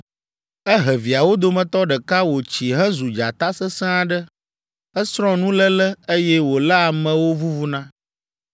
Ehe viawo dometɔ ɖeka wòtsi hezu dzata sesẽ aɖe. Esrɔ̃ nuléle, eye wòléa amewo vuvuna.